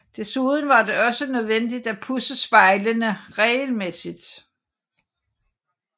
Desuden var det også nødvendigt at pudse spejlene regelmæssigt